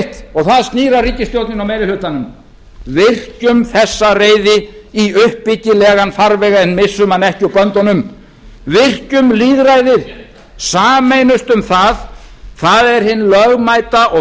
og það snýr að ríkisstjórninni og meiri hlutanum virkjum þessa reiði í uppbyggilegan farveg en missum hana ekki úr böndunum virkjum lýðræðið sameinumst um það það er hin lögmæta og